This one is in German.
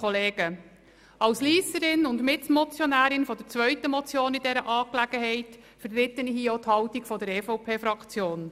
Als Lysserin und Mitmotionärin der zweiten Motion in dieser Angelegenheit vertrete ich hier gleichzeitig auch die Haltung der EVP-Fraktion.